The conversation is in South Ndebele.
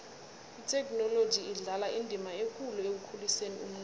ithekhinoloji idlala indima ekulu ekukhuliseni umnotho